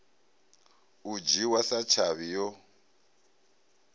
u dzhiwa sa tshavhi yo